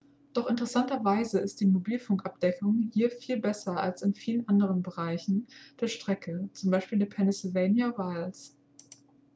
doch interessanterweise ist die mobilfunkabdeckung hier viel besser als in vielen anderen bereichen der strecke z. b. den pennsylvania wilds